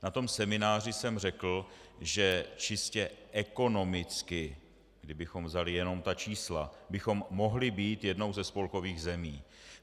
Na tom semináři jsem řekl, že čistě ekonomicky, kdybychom vzali jenom ta čísla, bychom mohli být jednou ze spolkových zemí.